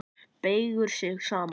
Beygir sig saman.